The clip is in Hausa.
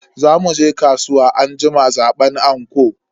Za muje kasuwa anjima zaban anko.